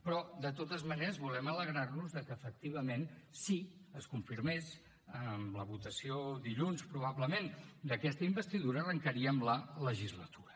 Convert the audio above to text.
però de totes maneres volem alegrar nos de que efectivament si es confirmés amb la votació dilluns probablement d’aquesta investidura arrancaríem la legislatura